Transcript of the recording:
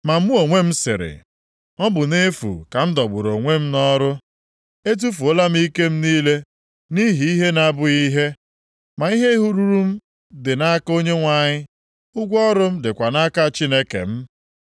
Ma mụ onwe m sịrị, “Ọ bụ nʼefu ka m dọgburu onwe m nʼọrụ. Etufuola m ike m niile nʼihi ihe na-abụghị ihe. Ma ihe ruru m dị nʼaka Onyenwe anyị, ụgwọ ọrụ m dịkwa nʼaka Chineke m.”